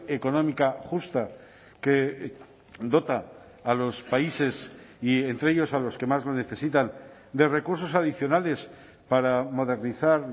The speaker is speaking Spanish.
económica justa que dota a los países y entre ellos a los que más lo necesitan de recursos adicionales para modernizar